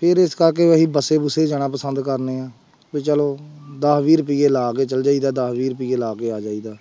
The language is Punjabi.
ਫਿਰ ਇਸ ਕਰਕੇ ਅਸੀਂ ਬੱਸੇ ਬੁਸੇ ਜਾਣਾ ਪਸੰਦ ਕਰਦੇ ਹਾਂ, ਵੀ ਚਲੋ ਦਸ ਵੀਹ ਰੁਪਏ ਲਾ ਕੇ ਚਲੇ ਜਾਈਦਾ, ਦਸ ਵੀਹ ਰੁਪਏ ਲਾ ਕੇ ਆ ਜਾਈਦਾ।